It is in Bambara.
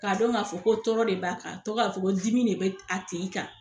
K'a dɔn k'a fɔ ko tɔɔrɔ de b'a kan tɔ k'a fɔ ko dimi de bɛ a tigi kan.